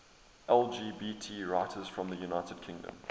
lgbt writers from the united kingdom